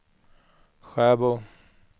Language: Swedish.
Sjöbo